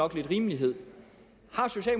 rimelighed